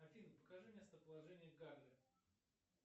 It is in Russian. афина покажи местоположение гагры